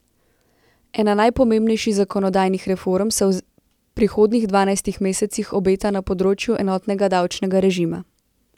Ena najpomembnejših zakonodajnih reform se v prihodnjih dvanajstih mesecih obeta na področju enotnega davčnega režima.